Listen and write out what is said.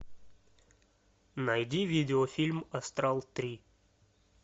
найди видеофильм астрал три